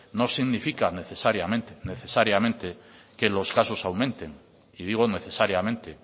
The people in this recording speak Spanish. no significa necesariamente necesariamente que los casos aumente y digo necesariamente